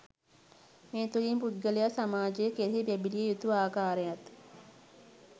මේ තුළින් පුද්ගලයා සමාජය කෙරෙහි බැලිය යුතු ආකාරයත්